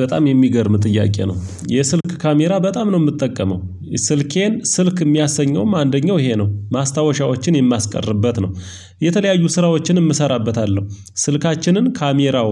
በጣም የሚገርም ጥያቄ ነው የስልክ ካሜራ በጣም ነው የምጠቀመው። ስልኬን ስልክ የሚያሰኘውም አንደኛው ይሄ ነው ማስታወሻዎችን የማስቀርበት ነው። የተለያዩ ስራዎችን እሠራበታለሁ ስልካችንን ካሜራው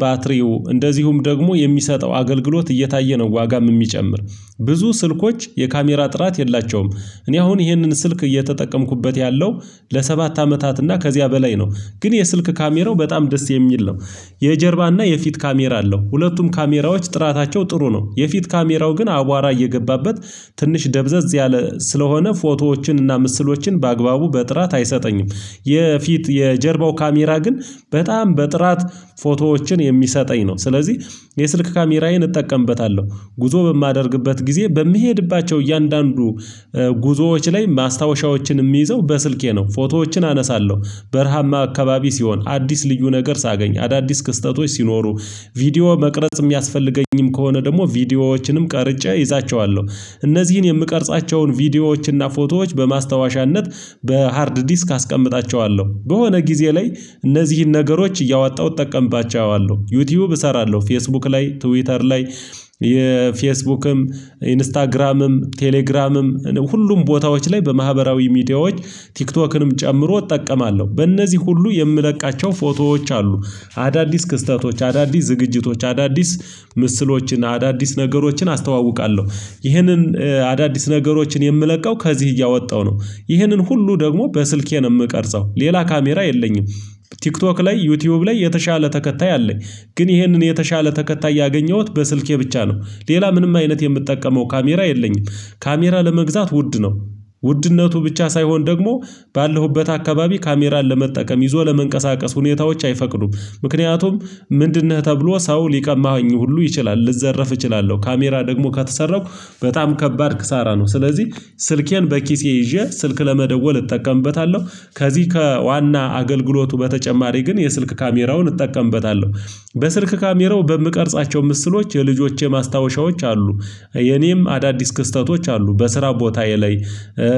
ባትሪው እንደዚሁም ደግሞ የሚሰጠው አገልግሎት እየታየ ነው። ዋጋም የሚጨምር ብዙ ስልኮች የካሜራ ጥራት የላቸውም። እኔ አሁን ይሄንን ስልክ እየተጠቀምኩበት ያለው ለሰባት አመታት እና ከዚያ በላይ ነው። ግን የስልክ ካሜራው በጣም ደስ የሚል ነው። የጀርባ እና የፊት ካሜራ አለው ሁለቱም ካሜራዎች ጥራታቸው ጥሩ ነው። የፊት ካሜራው ግን አቧራ እየገባበት ትንሽ ደብዘዝ ያለ ስለሆነ ፎቶዎችን እና ምስሎችን በአግባቡ በጥራት አይሰጠኝም። የፊት የጀርባው ካሜራ ግን በጣም በጥራት ፎቶዎችን የሚሰጠኝ ነው። ስለዚህ የስልክ ካሜራዬን እጠቀምበታለሁ ጉዞ በማደርግበት ጊዜ በምሄድባቸው እያንዳንዱ ጉዞዎች ላይ ማስታወሻዎችን የምይዘው በስልኬ ነው። ፎቶዎችን አነሳለሁ በረሃማ አካባቢ ሲሆን አዲስ ልዩ ነገር ሳገኝ አዳዲስ ክስተቶች ሲኖሩ ቪዲዮ መቅረጽ የሚያስፈልገኝም ከሆነ ደግሞ ቪዲዮዎችንም ቀርጬ እይዛቸዋለሁ። እነዚህን የምቀርጻቸውን ቪዲዮዎችን እና ፎቶዎች በማስታወሻነት በሃርድ ዲስክ አስቀምጣቸዋለሁ በሆነ ጊዜ ላይ እነዚህን ነገሮች እያወጣሁ እጠቀምባቸዋለሁ። ዩቲዩብ እሰራለሁ ፌስቡክ ላይ ትዊተር ላይ የፌስቡክም ኢንስታግራምም ቴሌግራምም ሁሉም ቦታዎች ላይ በማህበራዊ ሚዲያዎች ቲክቶክንም ጨምሮ እጠቀማለሁ። በእነዚህ ሁሉ የምለቃቸው ፎቶዎች አሉ። አዳዲስ ክስተቶች አዳዲስ ዝግጅቶች አዳዲስ ምስሎችን አዳዲስ ነገሮችን አስተዋውቃለሁ። ይህንን አዳዲስ ነገሮችን የምለቀው ከዚህ እያወጣው ነው። ይህንን ሁሉ ደግሞ በስልኬ ነው የምቀርጸው ሌላ ካሜራ የለኝም። ቲክቶክ ላይ ዩቲዩብ ላይ የተሻለ ተከታይ አለኝ። ግን ይህንን የተሻለ ተከታይ ያገኘሁት በስልኬ ብቻ ነው። ሌላ ምንም አይነት የምጠቀመው ካሜራ የለኝም። ካሜራ ለመግዛት ውድ ነው። ውድነቱ ብቻ ሳይሆን ደግሞ ባለሁበት አካባቢ ካሜራን ለመጠቀም ይዞ ለመንቀሳቀስ ሁኔታዎች አይፈቅዱም። ምክንያቱም ምንድንነህ ተብሎ ሰው ሊቀማኸኝ ሁሉ ይችላል ልዘረፍ እችላለሁ ካሜራ ደግሞ ከተሰረኩ በጣም ከባድ ክሳራ ነው። ስለዚህ ስልኬን በኪሴ ይዤ ስልክ ለመደወል እጠቀምበታለሁ። ከዚህ ከዋና አገልግሎቱ በተጨማሪ ግን የስልክ ካሜራውን እጠቀምበታለሁ። በስልክ ካሜራው በምቀርጻቸው ምስሎች የልጆቼ ማስታወሻዎች አሉ። የኔም አዳዲስ ክስተቶች አሉ በስራ ቦታዬ ላይ።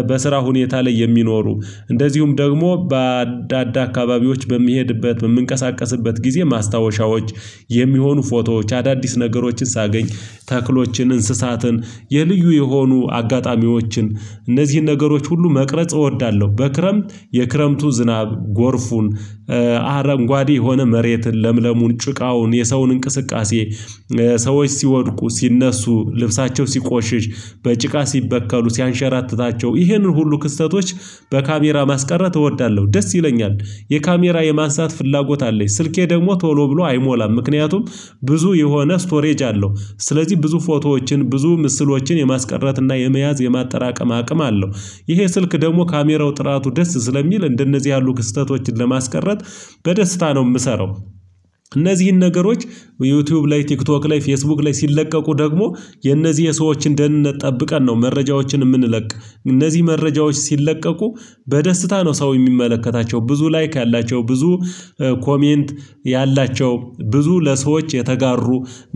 በስራ ሁኔታ ላይ የሚኖሩ እንደዚሁም ደግሞ በአዳንዳ አካባቢዎች በምሄድበት በምንቀሳቀስበት ጊዜ ማስታወሻዎች የሚሆኑ ፎቶዎች አዳዲስ ነገሮችን ሳገኝ ተክሎችን እንስሳትን የልዩ የሆኑ አጋጣሚዎችን እነዚህን ነገሮች ሁሉ መቅረጽ እወዳለሁ። በክረምት የክረምቱ ዝናብ ጎርፉን አረንጓዴ የሆነ መሬትን ለምለሙን ጭቃውን የሰውን እንቅስቃሴ ሰዎች ሲወድቁ ሲነሱ ልብሳቸው ሲቆሽሽ በጭቃ ሲበከሉ ሲያንሸራትታቸው ይህንን ሁሉ ክስተቶች በካሜራ ማስቀረት እወዳለሁ። ደስ ይለኛል። የካሜራ የማንሳት ፍላጎት አለኝ ስልኬ ደግሞ ቶሎ ብሎ አይሞላም ምክንያቱም ብዙ የሆነ ስቶሬጅ አለው። ስለዚህ ብዙ ፎቶዎችን ብዙ ምስሎችን የማስቀረት እና የመያዝ የማጠራቀም አቅም አለው። ይሄ ስልክ ደግሞ ካሜራው ጥራቱ ደስ ስለሚል እንደነዚህ ያሉ ክስተቶችን ለማስቀረት በደስታ ነው የምሰራው። እነዚህን ነገሮች ዩቲዩብ ላይ ቲክቶክ ላይ ፌስቡክ ላይ ሲለቀቁ ደግሞ የነዚህ የሰዎችን ደህንነት ጠብቀን ነው መረጃዎችን የምንለቅ። እነዚህ መረጃዎች ሲለቀቁ በደስታ ነው ሰው የሚመለከታቸው ብዙ ላይክ ያላቸው ብዙ ኮሜንት ያላቸው ብዙ ለሰዎች የተጋሩ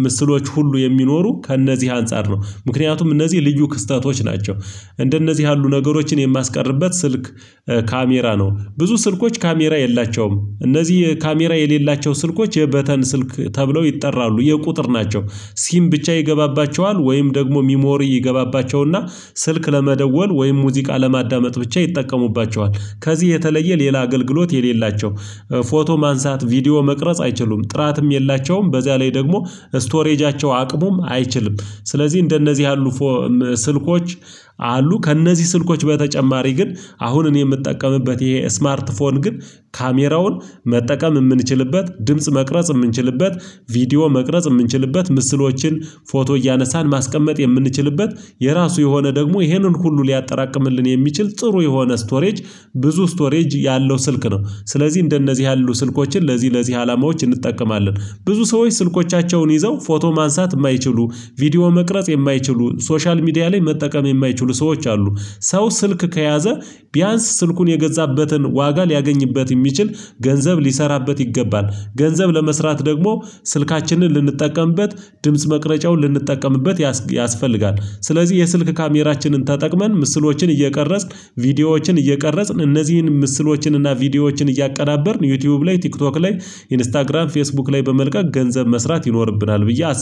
ምስሎች ሁሉ የሚኖሩ ከእነዚህ አንፃር ነው ምክንያቱም እነዚህ ልዩ ክስተቶች ናቸው። እንደነዚህ ያሉ ነገሮችን የማስቀርብበት ስልክ ካሜራ ነው ብዙ ስልኮች ካሜራ የላቸውም እነዚህ ካሜራ የሌላቸው ስልኮች የበተን ስልክ ተብለው ይጠራሉ የቁጥር ናቸው። ሲም ብቻ ይገባባቸዋል ወይም ደግሞ ሚሞሪ ይገባባቸው እና ስልክ ለመደወል ወይም ሙዚቃ ለማዳመጥ ብቻ ይጠቀሙባቸዋል ከዚህ የተለየ ሌላ አገልግሎት የሌላቸው። ፎቶ ማንሳት ቪዲዮ መቅረጽ አይችሉም ጥራትም የላቸውም በዚያ ላይ ደግሞ ስቶሬጃቸው አቅሙም አይችልም። ስለዚህ እንደነዚህ ያሉ ፎ ም ስልኮች። አሉ ከእነዚህ ስልኮች በተጨማሪ ግን አሁን እኔ የምጠቀምበት ይሄ ስማርት ፎን ግን ካሜራውን መጠቀም የምንችልበት ድምጽ መቅረጽ የምንችልበት ቪዲዮ መቅረጽ የምንችልበት ምስሎችን ፎቶ እያነሳን ማስቀመጥ የምንችልበት የራሱ የሆነ ደግሞ ይሄንን ሁሉ ሊያጠራቅምልን የሚችል ጥሩ የሆነ ስቶሬጅ ብዙ ስቶሬጅ ያለው ስልክ ነው። ስለዚህ እንደነዚህ ያሉ ስልኮችን ለዚህ ለዚህ አላማዎች እንጠቀማለን። ብዙ ሰዎች ስልኮቻቸውን ይዘው ፎቶ ማንሳት የማይችሉ ቪዲዮ መቅረጽ የማይችሉ ሶሻል ሚዲያ ላይ መጠቀም የማይችሉ ሰዎች አሉ። ሰው ስልክ ከያዘ ቢያንስ ስልኩን የገዛበትን ዋጋ ሊያገኝበት የሚችል ገንዘብ ሊሠራበት ይገባል። ገንዘብ ለመስራት ደግሞ ስልካችንን ልንጠቀምበት ድምጽ መቅረጫውን ልንጠቀምበት ያስ ያስፈልጋል። ስለዚህ የስልክ ካሜራችንን ተጠቅመን ምስሎችን እየቀረጽን ቪዲዮዎችን እየቀረጽን እነዚህን ምስሎችን እና ቪዲዮዎችን እያቀናበርን ዩቲዩብ ላይ ቲክቶክ ላይ ኢንስታግራም ፌስቡክ ላይ በመልቀቅ ገንዘብ መስራት ይኖርብናል። ብዬ አስብ